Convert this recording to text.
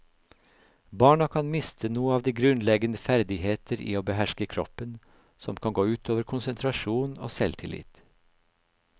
Barna kan miste noe av de grunnleggende ferdigheter i å behersker kroppen, som kan gå utover konsentrasjon og selvtillit.